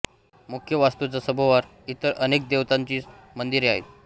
मुख्य वास्तूच्या सभोवार इतर अनेक देवतांची मंदिरे आहेत